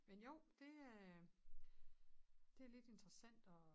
Men jo det øh